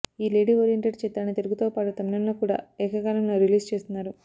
ఈ lady oriented చిత్రాన్ని తెలుగుతో పాటు తమిళంలో కూడా ఏక కాలంలో రిలీజ్ చేస్తున్నారు